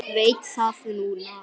Veit það núna.